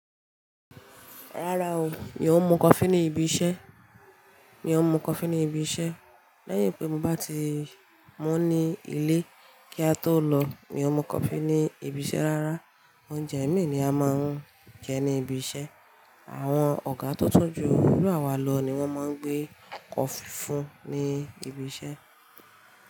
Rárá o, mi ò mu coffee ní ibi iṣẹ́, mi ò mu coffee ní ibi iṣẹ́ Lèyín pé mo bá ti mú ní ilé kí a tó lọ. Mi ò mu coffee ní ibi iṣẹ́ rárá. Oúnjẹ ẹ̀mí ni a máa ń jẹ ní ibi iṣẹ́. Àwọn ọ̀gá to tun ju iru àwa lọ ni wọ́n máa ń gbé coffee fún ní ibi iṣẹ́